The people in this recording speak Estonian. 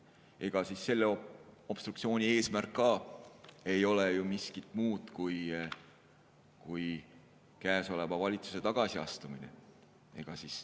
Ega selle obstruktsiooni eesmärk ei ole ju miski muu kui praeguse valitsuse tagasiastumine.